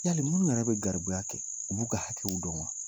Yali minnu yɛrɛ bɛ garibuya kɛ, u b'u ka hakɛw dɔn wa?